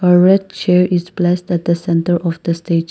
a red chair is blessed at the centre of the stage.